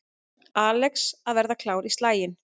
Alex að verða klár í slaginn